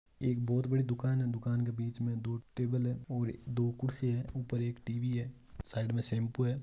एक बहुत बड़ी दुकान है बिच में दो टेबल है दो खुर्सी है और ऊपर एक टीवी हैं साइड मैं सेंपू है।